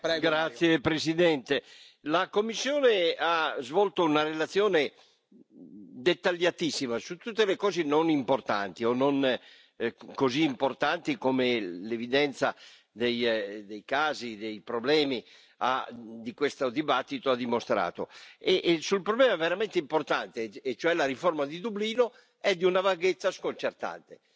Signor Presidente, onorevoli colleghi, la Commissione ha svolto una relazione dettagliatissima su tutte le cose non importanti o non così importanti, come l'evidenza dei casi, dei problemi che questo dibattito ha dimostrato. E sul problema veramente importante e cioè la riforma di Dublino è di una vaghezza sconcertante.